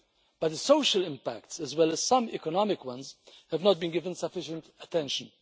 But the social impact, as well as some economic ones, have not been given sufficient attention.